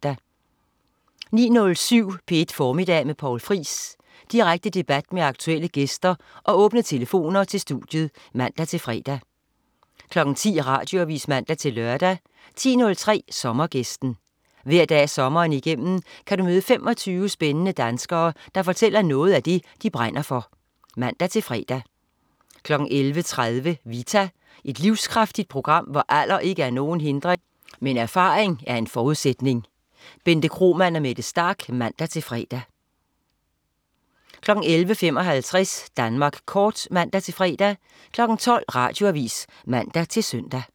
09.07 P1 Formiddag med Poul Friis. Direkte debat med aktuelle gæster og åbne telefoner til studiet (man-fre) 10.00 Radioavis (man-lør) 10.03 Sommergæsten. Hver dag sommeren igennem kan du møde 25 spændende danskere, der fortæller om noget af det, de brænder for (man-fre) 11.30 Vita. Et livskraftigt program, hvor alder ikke er nogen hindring, men erfaring en forudsætning. Bente Kromann og Mette Starch (man-fre) 11.55 Danmark Kort (man-fre) 12.00 Radioavis (man-søn)